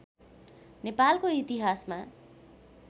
नेपालको इतिहासमा